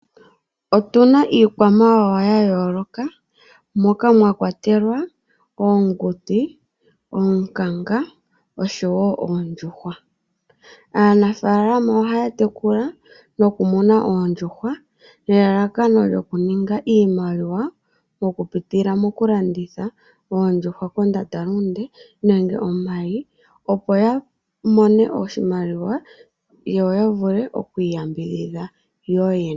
Otuna iikwamawawa ya yooloka moka mwa kwatelwa oonguti noonkanga, osho wo oondjuhwa. Aanimuna ohaya tekula noku muna oondjuhwa nelalakano lyokuninga iimaliwa, okupitila moku landitha oondjuhwa kondandalunde nenge omayi, opo ya mone oshimaliwa yoya vule okuyambidhidha.